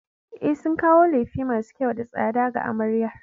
E, sun kawo lefe masu kyau da tsada ga amaryar.